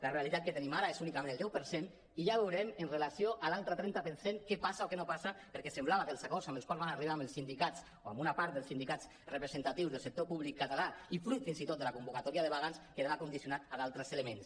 la realitat que tenim ara és únicament el deu per cent i ja veurem amb relació a l’altre trenta per cent què passa o què no passa perquè semblava que els acords als quals van arribar amb els sindicats o amb una part dels sindicats representatius del sector públic català i fruit fins i tot de la convocatòria de vaga quedaven condicionats a d’altres elements